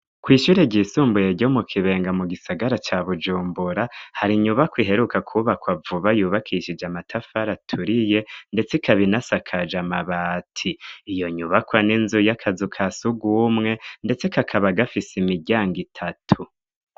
Kw'ishure ryisumbuye ryo mu Kibenga mu gisagara ca Bujumbura, hari inyubako iheruka kubakwa vuba, yubakishije amatafari aturiye, ndetse ikaba inasakaje amabati, iyo nyubakwa, n'inzu y'akazu ka sugumwe ndetse, kakaba gafise imiryango itatu.